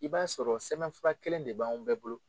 I b'a sɔrɔ sɛbɛnfura kelen de b'anw bɛɛ bolo.